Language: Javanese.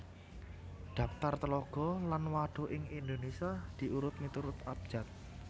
Dhaptar Tlaga lan Wadhuk ing Indonésia diiurut miturut abjad